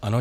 Ano.